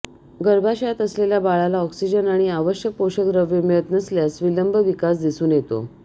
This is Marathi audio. गर्भाशयात असलेल्या बाळाला ऑक्सिजन आणि आवश्यक पोषक द्रव्ये मिळत नसल्यास विलंब विकास दिसून येतो